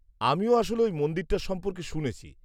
-আমিও আসলে ওই মন্দিরটার সম্পর্কে শুনেছি।